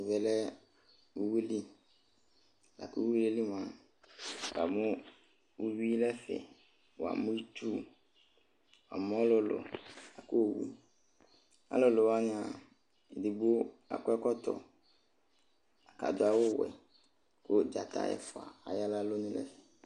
Ɛmɛ lɛ uyui li la ku uyui yɛ li mua wuamu uyui nu ɛfɛ wuamu itsu wuamu ɔlulu ku ɔlulu wani edigbo akɔ ɛkɔtɔ ku adu awu ɔwɛ ku dzata ɛfua aya nu alɔnu nu ɛfɛ